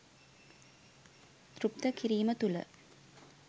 තෘප්ත කිරීම තුළ